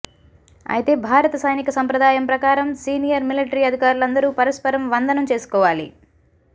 అయితే భారత సైనిక సంప్రదాయం ప్రకారం సీనియర్ మిలటరీ అధికారులందరూ పరస్పరం వందనం చేసుకోవాలి